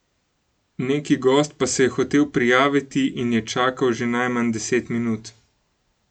Neki gost pa se je hotel prijaviti in je čakal že najmanj deset minut.